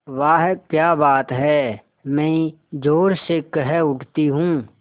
वाह क्या बात है मैं ज़ोर से कह उठती हूँ